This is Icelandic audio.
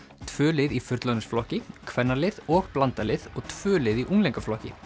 tvö lið í fullorðinsflokki kvennalið og blandað lið og tvö lið í unglingaflokki